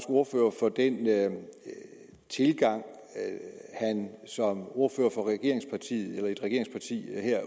ordfører for den tilgang han som ordfører for et regeringsparti